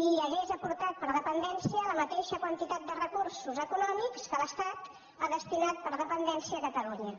i hagués aportat per a dependència la mateixa quantitat de recursos econòmics que l’estat ha destinat per a dependència a catalunya